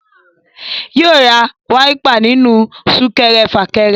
Yóò ra wáípà nínú súkẹrẹ fàkẹrẹ